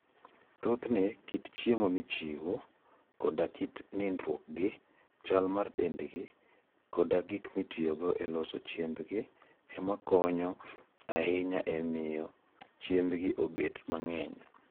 Thothne, kit chiemo michiwo, hik le koda kit nindruokgi, chal mar dendgi, koda gik mitiyogo e loso chiembgi, ema konyo ahinya e miyo chiembgi obed mang'eny.